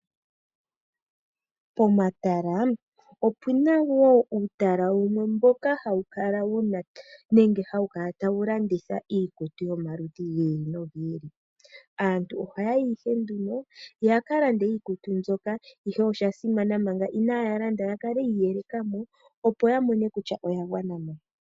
Pomatala opuna woo uutalala wumwe mboka hawu kala wuna nenge hawu kala tawu landitha iikutu yomaludhi gi ili nogi ili. Aantu oha yayi ihe nduno ya kalande iikutu mbyoka ihe oshasimana manga inaya landa ya kale yi iyelekamo opo yamone kutya oyagwanamo.